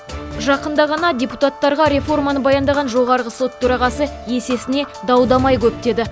жақында ғана депутаттарға реформаны баяндаған жоғарғы сот төрағасы есесіне дау дамай көп деді